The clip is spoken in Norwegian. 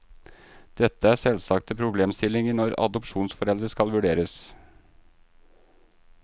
Dette er selvsagte problemstillinger når adopsjonsforeldre skal vurderes.